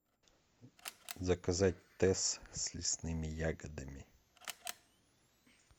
заказать тесс с лесными ягодами